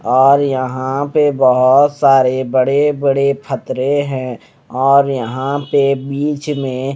और यहां पे बहोत सारे बड़े बड़े फ़तरे है और यहां पे बीच में--